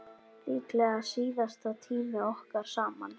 Líklega síðasti tími okkar saman.